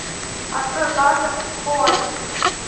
открой база куантико